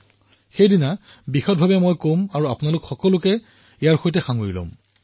মই নিজে সেই দিনা বিস্তাৰিত ৰূপত ইয়াৰ বিষয়ে কম আৰু আপোনালোককো ইয়াৰ সৈতে জড়িত কৰিম